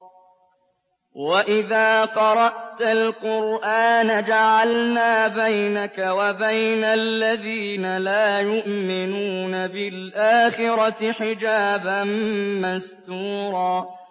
وَإِذَا قَرَأْتَ الْقُرْآنَ جَعَلْنَا بَيْنَكَ وَبَيْنَ الَّذِينَ لَا يُؤْمِنُونَ بِالْآخِرَةِ حِجَابًا مَّسْتُورًا